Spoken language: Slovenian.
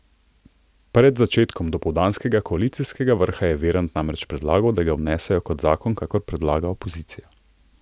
Pred začetkom dopoldanskega koalicijskega vrha je Virant namreč predlagal, da ga vnesejo kot zakon, kakor predlaga opozicija.